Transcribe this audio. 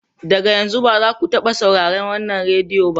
Daga yanzu, ba za ku taɓa sauraron wannan rediyo ba!